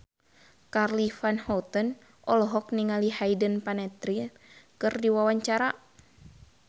Charly Van Houten olohok ningali Hayden Panettiere keur diwawancara